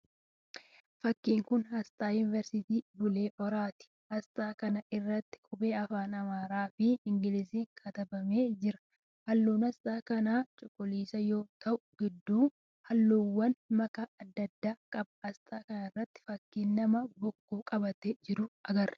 Fakkiin kun asxaa yuniiversiitii Bulee Horaati. Asxaa kana irratti qubee afaan Amaaraa fi Ingiliziin katabamee jira. Halluun asxaa kanaa cuquliisa yoo ta'u gidduun halluuwwaan makaa adda addaa qaba. Asxaa kanarra fakkii nama bokkuu qabatee jirutu jira.